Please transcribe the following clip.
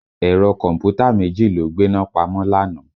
Ẹ̀rọ kọ̀m̀pútà méjì ló gbéná pamọ́ lánàá